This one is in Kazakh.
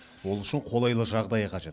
ол үшін қолайлы жағдай қажет